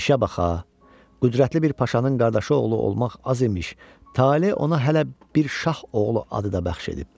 İşə baxa, qüdrətli bir paşanın qardaşı oğlu olmaq az imiş, tale ona hələ bir şah oğlu adı da bəxş edib.